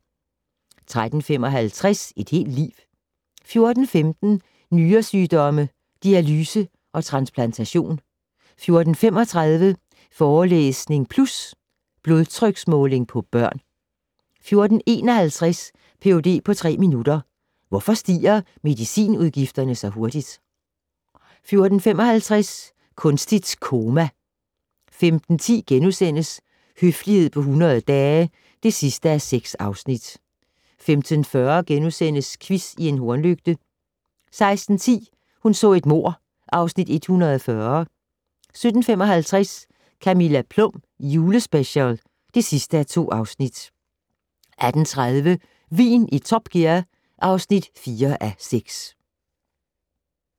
13:55: Et helt liv 14:15: Nyresygdomme - dialyse og transplantation 14:35: Forelæsning Plus - Blodtryksmåling på børn 14:51: Ph.d. på tre minutter - Hvorfor stiger medicinudgifterne så hurtigt? 14:55: Kunstigt koma 15:10: Høflighed på 100 dage (6:6)* 15:40: Quiz i en hornlygte * 16:10: Hun så et mord (Afs. 140) 17:55: Camilla Plum julespecial (2:2) 18:30: Vin i Top Gear (4:6)